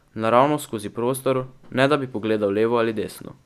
Naravnost skozi prostor, ne da bi pogledal levo ali desno.